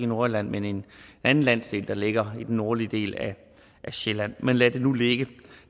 nordjylland men en anden landsdel der ligger i den nordlige del af sjælland men lad det nu ligge